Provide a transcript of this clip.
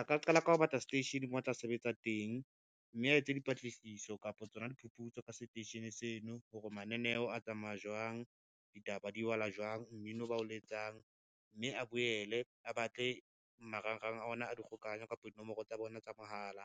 A ka qala ka ho batla seteishene mo a tla sebetsa teng, mme a etse dipatlisiso kapa tsona diphuputso ka seteishene seno, hore mananeo a tsamaya jwang, ditaba di balwa jwang, mmino bao le etsang, mme a boele a batle marangrang a ona a dikgokahanyo kapa dinomoro tsa bona tsa mohala,